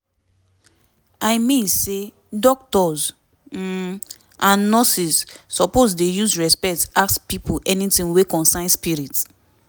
i mean say doctors um and nurses suppose dey use respect ask pipo anytin wey concern spirit